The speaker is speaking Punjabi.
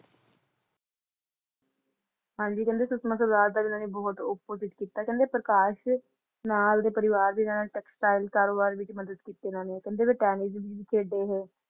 ਹਾਂਜੀ ਕਹਿੰਦੇ ਸੁਸ਼ਮਾ ਸਵਰਾਜ ਦਾ ਇਹਨਾਂ ਨੇ ਬਹੁਤ opposite ਕੀਤਾ ਕਹਿੰਦੇ ਪ੍ਰਕਾਸ਼ ਨਾਲ ਦੇ ਪਰਿਵਾਰ ਦੇ ਨਾਲ textile ਕਾਰੋਬਾਰ ਵਿੱਚ ਮਦਦ ਕੀਤੀ ਇਹਨਾਂ ਨੇ ਕਹਿੰਦੇ ਵੀ ਟੈਨਿਸ ਖੇਡੇ ਇਹ